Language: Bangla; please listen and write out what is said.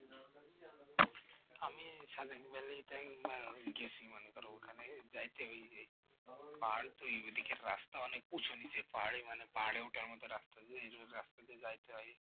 আমি সাদেক ভ্যালিটাই গেয়েছি মনে কর ওখানে যাইতে ই পাহাড় তো এই দিকে রাস্তা অনেক উঁচু নিচু পাহাড়ে উঠে আমাদের রাস্তা তো যাইতে হয়